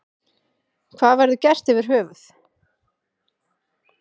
Hvað verður gert yfir höfuð.